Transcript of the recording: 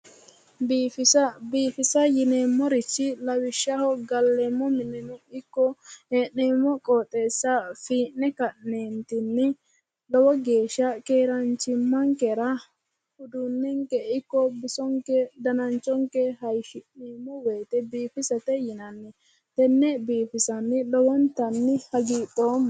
Biifisa biifisa yineemmorichi lawishshaho galleemmo mineno ikko hee'neemmo qooxeessa fiine ka'neentinni lowo geeshsha keeraanchimmankera uduunnenke ikko bisonke dananchonke hayishshi'neemmo woyte biifisate yinanni tenne biifisanni lowontanni hagiidhoomma